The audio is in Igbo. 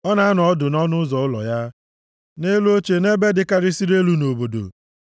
Ọ na-anọ ọdụ nʼọnụ ụzọ ụlọ ya, nʼelu oche nʼebe dịkarịsịrị elu nʼobodo,